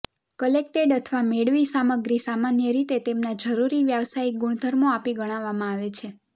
collected અથવા મેળવી સામગ્રી સામાન્ય રીતે તેમના જરૂરી વ્યવસાયિક ગુણધર્મો આપી ગણવામાં આવે છે